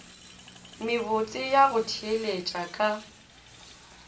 mebotse ya go theeletša ka